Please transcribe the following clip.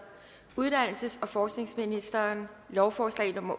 uddannelses og forskningsministeren lovforslag nummer